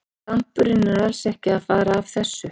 Dampurinn er alls ekki að fara af þessu.